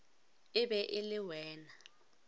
e be e le wena